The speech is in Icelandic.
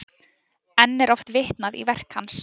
Enn er oft vitnað í verk hans.